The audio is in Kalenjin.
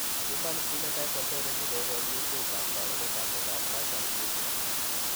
Human phenotype ontology kokoonulistiitab taakunetaab myondap Marshall Smith.